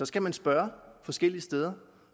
skal man spørge forskellige steder